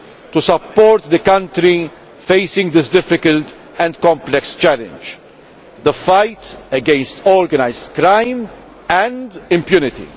to support it in facing this difficult and complex challenge the fight against organised crime and impunity.